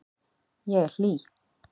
Ég er hlý.